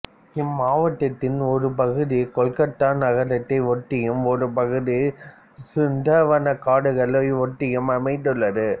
இம்மாவட்டத்தின் ஒரு பகுதி கொல்கத்தா நகரத்தை ஒட்டியும் ஒரு பகுதி சுந்தரவனக்காடுகள் ஒட்டியும் அமைந்துள்ளது